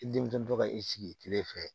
I denmuso tɔ ka i sigi kile fɛ